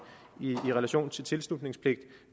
i relation til tilslutningspligt